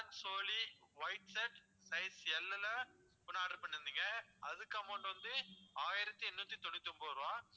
Alan Solly white shirt size L ல ஒண்ணு order பண்ணியிருந்தீங்க அதுக்கு amount வந்து ஆயிரத்தி எண்ணூத்தி தொண்ணூத்தி ஒன்பது ருபா